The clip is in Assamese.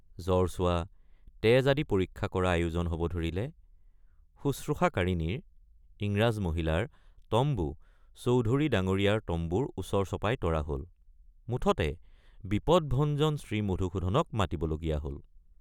জ্বৰ চোৱা তেজ আদি পৰীক্ষা কৰা আয়োজন হব ধৰিলে শুশ্ৰূষাকাৰিণীৰ ইংৰাজ মহিলাৰ তম্বু চৌধুৰী ডাঙৰীয়াৰ তম্বুৰ ওচৰ চপাই তৰা হল মুঠতে বিপদভঞ্জন শ্ৰীমধুসূদনক মাতিবলগীয়া হল।